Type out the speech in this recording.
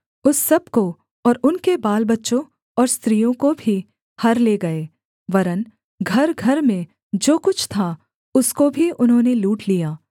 उस सब को और उनके बालबच्चों और स्त्रियों को भी हर ले गए वरन् घरघर में जो कुछ था उसको भी उन्होंने लूट लिया